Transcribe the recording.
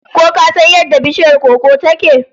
Ko ka san yadda bishiyar koko ta ke?